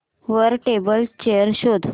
वर table chair शोध